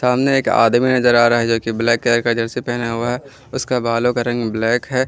सामने एक आदमी नजर आ रहा है जो की ब्लैक कलर का जर्सी पहना हुआ है उसका बालों का रंग ब्लैक है।